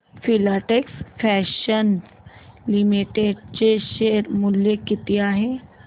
Filatex Fashions Limited चे share मूल्य किती आहे